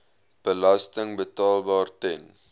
belasting betaalbaar ten